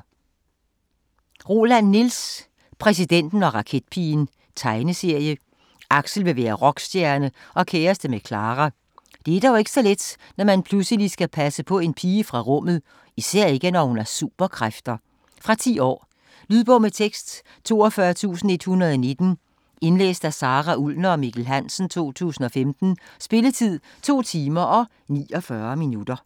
Roland, Niels: Præsidenten og raketpigen Tegneserie. Aksel vil være rockstjerne og kæreste med Clara. Det er dog ikke så let, når man pludselig skal passe på en pige fra rummet. Især ikke når hun har superkræfter. Fra 10 år. Lydbog med tekst 42119 Indlæst af Sara Ullner og Mikkel Hansen, 2015. Spilletid: 2 timer, 49 minutter.